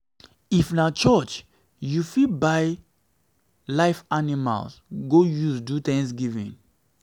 if na if na for church you fit buy live animals go use do thanksgiving